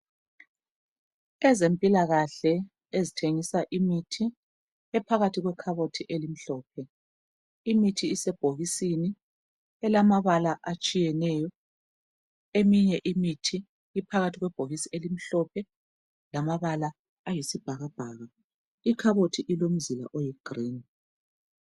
Ezempilakahle ezithengisa imithi ephakathi kwe khabothi elimhlophe. Imithi isebhokisini elamabala atshiyeneyo. Eminye imithi iphakathi kwebhokisi elimhlophe lamabala ayisibhakabhaka Ikhabhothi ilomzila oyi 'green'.